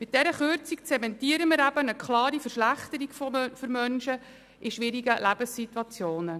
Mit dieser Kürzung zementieren wir eine klare Verschlechterung für Menschen in schwierigen Lebenssituationen.